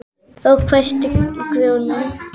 Þá hvæsti Grjóni: